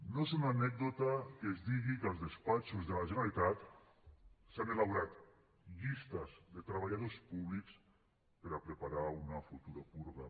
no és una anècdota que es digui que als despatxos de la generalitat s’han elaborat llistes de treballadors públics per preparar una futura purga